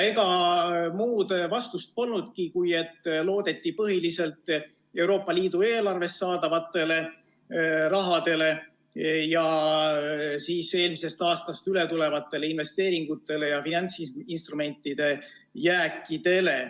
Ega muud vastust polnudki, kui et loodeti põhiliselt Euroopa Liidu eelarvest saadavale rahale ning eelmisest aastast üle tulevatele investeeringutele ja finantsinstrumentide jääkidele.